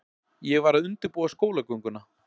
Ég var að undirbúa skólagönguna.